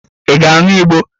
Ị ga-aṅụ Igbo?